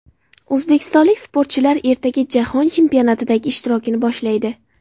O‘zbekistonlik sportchilar ertaga Jahon chempionatidagi ishtirokini boshlaydi.